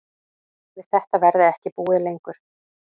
Við þetta verði ekki búið lengur